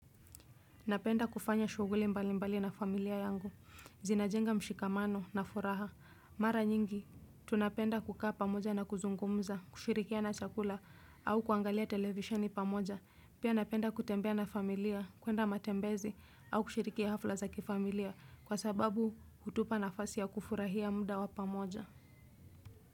Napenda kufanya shughuli mbali mbali na familia yangu, zinajenga mshikamano na furaha. Mara nyingi, tunapenda kukaa pamoja na kuzungumza, kushirikiana chakula au kuangalia televisheni pamoja. Pia napenda kutembea na familia, kuenda matembezi au kushiriki hafla za kifamilia kwa sababu hutupa nafasi ya kufurahia muda wa pamoja.